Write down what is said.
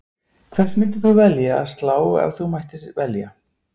Hvert þeirra myndir þú velja að slá ef þú mættir velja?